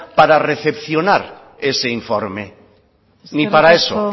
para recepcionar ese informe ni para eso